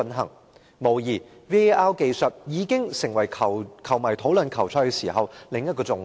毫無疑問 ，VAR 技術已經成為球迷討論球賽時的另一個焦點。